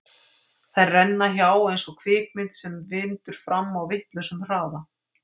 Þær renna hjá eins og kvikmynd sem vindur fram á vitlausum hraða.